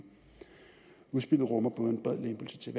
udspillet rummer både en bred lempelse til